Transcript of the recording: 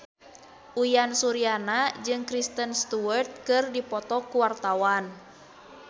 Uyan Suryana jeung Kristen Stewart keur dipoto ku wartawan